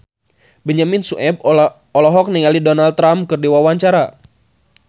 Benyamin Sueb olohok ningali Donald Trump keur diwawancara